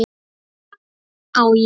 Á ég?